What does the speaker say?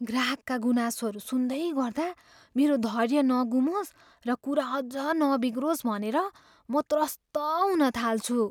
ग्राहकका गुनासोहरू सुन्दै गर्दा मेरो धैर्य नगुमोस् र कुरा अझ नबिग्रोस् भनेर म त्रस्त हुन थाल्छु।